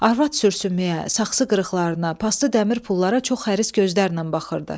Arvad sürsümüyə, saxsı qırıqlarına, paslı dəmir pullara çox xəsis gözlərlə baxırdı.